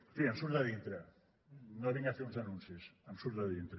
en fi em surt de dintre no vinc a fer uns anuncis em surt de dintre